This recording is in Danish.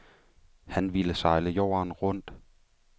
Han ville sejle jorden rundt.